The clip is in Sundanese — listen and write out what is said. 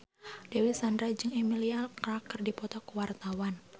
Dewi Sandra jeung Emilia Clarke keur dipoto ku wartawan